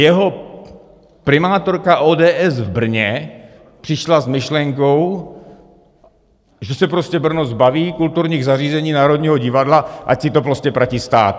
Jeho primátorka ODS v Brně přišla s myšlenkou, že se prostě Brno zbaví kulturních zařízení, Národního divadla, ať si to prostě platí stát.